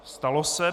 Stalo se.